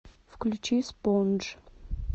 включи спонж